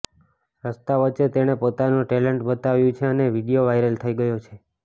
રસ્તા વચ્ચે તેણે પોતાનું ટેલેન્ટ બતાવ્યું છે અને વીડિયો વાયરલ થઈ ગયો છે